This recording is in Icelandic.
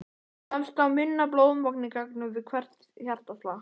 Kemst þá minna blóðmagn í gegn við hvert hjartaslag.